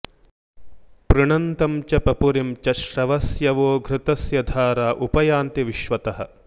पृणन्तं च पपुरिं च श्रवस्यवो घृतस्य धारा उप यन्ति विश्वतः